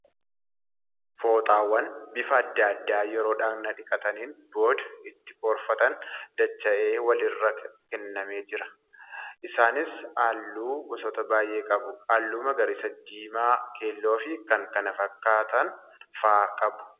Fooxaawwan bifa adda addaa yeroo dhaqna dhiqataniin booda ittii qoorfatan dacha'ee wal irra nammee jira. Isaniis halluu gosoota baay'ee qabu. Halluu magariisa, diimaa , keelloo fi kan kana fakkaatan fa'aa qaba.